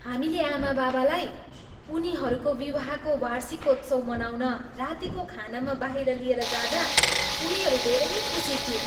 हामीले आमाबाबालाई उनीहरूको विवाहको वार्षिकोत्सव मनाउन रातीको खानामा बाहिर लिएर जाँदा उनीहरू धेरै खुसी थिए।